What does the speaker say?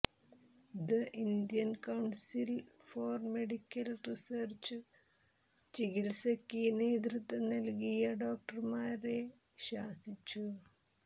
the Indian council for medical research ചികിൽസയ്ക്ക് നേതൃത്വം നൽകിയ ഡോക്ടർമാരെ ശാസിച്ചു